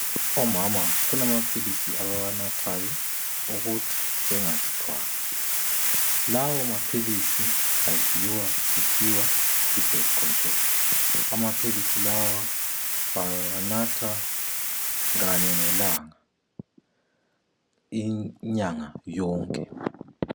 Omama kulamaphilisi abawanathayo ukuthi bengazithwali. Lawamaphilisi aziwa kuthiwa yibirth control. Amaphilisi lawa bawanatha kanye ngelanga, inyanga yonke.